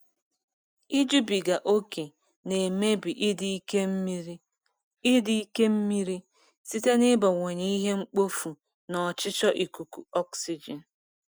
Ijubiga ókè na-emebi ịdị nke mmiri ịdị nke mmiri site n'ịbawanye ihe mkpofu na ọchịchọ ikuku oxygen.